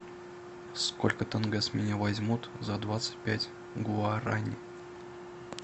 сколько тенге с меня возьмут за двадцать пять гуарани